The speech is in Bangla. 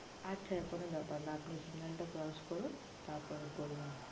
আচ্ছা আচ্ছা কোনো ব্যাপার না signal আপনে টা crotch করুন তার পর বলুন